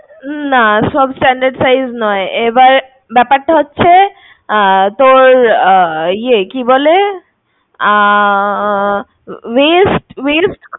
না সব standard size নয়, এবার ব্যাপারটা হচ্ছে তোর ইয়ে কি বলে waist